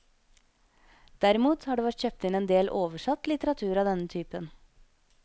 Derimot har det vært kjøpt inn en del oversatt litteratur av denne typen.